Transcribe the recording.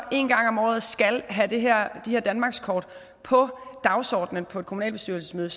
en gang om året skal have de her danmarkskort på dagsordenen på et kommunalbestyrelsesmøde